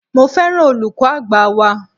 Mo féràn olùkọ́ àgbà wa.